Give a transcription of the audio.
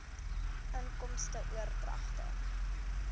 inkomste oordragte